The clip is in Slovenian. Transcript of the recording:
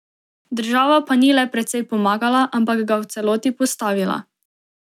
Država pa ni le precej pomagala, ampak ga v celoti postavila.